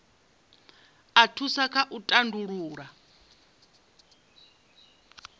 a thusa kha u tandulula